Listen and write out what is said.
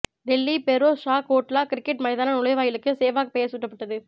Delhi Feroz Shah Kotla cricket மைதான நுழைவாயிலுக்கு சேவாக் பெயர் சூட்டப்பட்டது